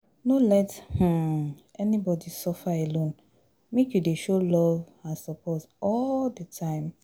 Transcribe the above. No let um anybody suffer alone, make you dey show love and support all di time.